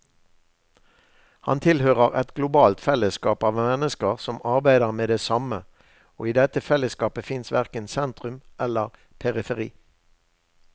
Han tilhører et globalt fellesskap av mennesker som arbeider med det samme, og i dette fellesskapet fins verken sentrum eller periferi.